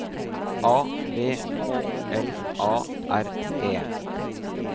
A V K L A R E